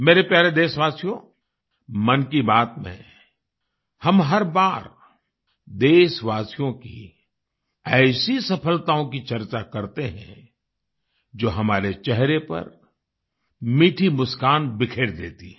मेरे प्यारे देशवासियो मन की बात में हम हर बार देशवासियों की ऐसी सफलताओं की चर्चा करते हैं जो हमारे चेहरे पर मीठी मुस्कान बिखेर देती हैं